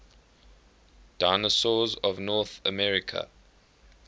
dinosaurs of north america